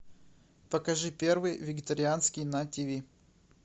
покажи первый вегетарианский на тиви